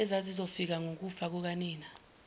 ezazizofa ngokufa kukanina